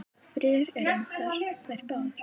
Friður er um þær báðar.